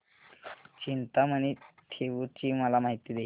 चिंतामणी थेऊर ची मला माहिती दे